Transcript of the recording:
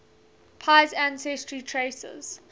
pei's ancestry traces